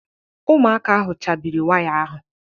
Ụmụaka ahụ chabiri waya ahụ